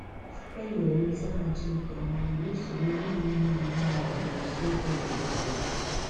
Enyere m nzaghachi nke ọma mgbe usoro ihe omume m na awa n' usekwu nwere nsogbu.